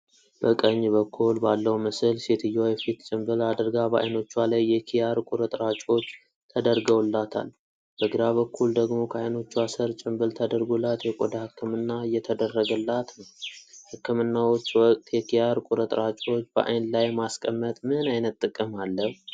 በቀኝ በኩል ባለው ምስል ሴትየዋ የፊት ጭንብል አድርጋ በዓይኖቿ ላይ የኪያር ቁርጥራጮች ተደርገውላታል፣ በግራ በኩል ደግሞ ከዓይኖቿ ስር ጭንብል ተደርጎላት የቆዳ ሕክምና እየተደረገላት ነው። ሕክምናዎች ወቅት የኪያር ቁርጥራጮች በዓይን ላይ ማስቀመጥ ምን ዓይነት ጥቅም አለው?